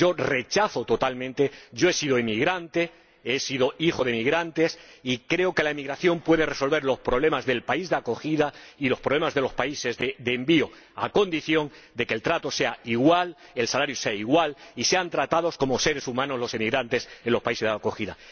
Yo lo rechazo totalmente. Yo he sido emigrante, he sido hijo de emigrantes, y creo que la emigración puede resolver los problemas del país de acogida y los problemas de los países de envío, a condición de que el trato sea igual, el salario sea igual y los emigrantes sean tratados como seres humanos en los países de acogida.